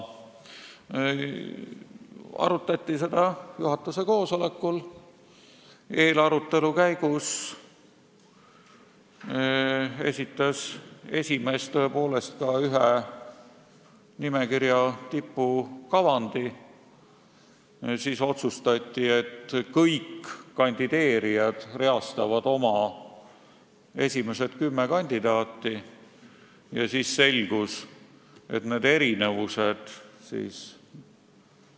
Arutati juhatuse koosolekul, eelarutelu käigus esitas esimees tõepoolest ka ühe nimekirja tipu kavandi, seejärel otsustati, et kõik kandideerijad reastavad oma kümme kandidaati, kes võiksid olla nimekirja eesotsas.